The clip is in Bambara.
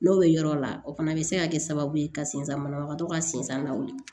N'o bɛ yɔrɔ la o fana bɛ se ka kɛ sababu ye ka sinzan banabagatɔ ka sensan lawuli